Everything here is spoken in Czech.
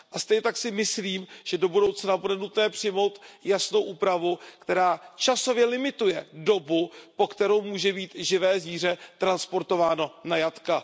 A stejně tak si myslím, že do budoucna bude nutné přijmout jasnou úpravu, která časově limituje dobu, po kterou může být živé zvíře transportováno na jatka.